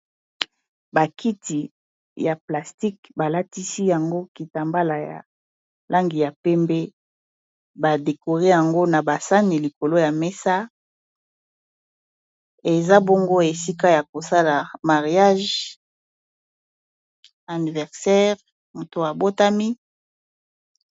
bakiti ya plastique balatisi yango kitambala ya langi ya pembe badekore yango na basani likolo ya mesa eza bongo esika ya kosala mariage anniversaire moto ya botami